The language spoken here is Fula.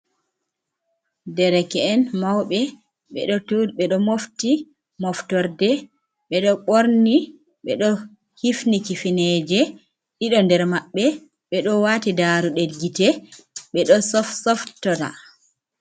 Dereke'en mauɓe ɓeɗo mofti moftorde ɓeɗo ɓorni, ɓe ɗo hifni kifineje, ɗiɗo nder maɓɓe ɓeɗo wati daru ɗe gite ɓe ɗo sofsoftora.